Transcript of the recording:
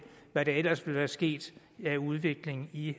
hvad der ellers ville være sket af udvikling i